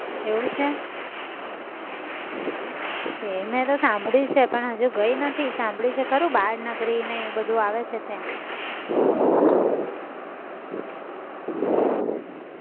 એવું છે તે મેં તો સાંભળું છે પણ હજુ ગઈ નથી. સાંભળું છે ખરું બાળનગરી ને એ બધું આવે છે ત્યાં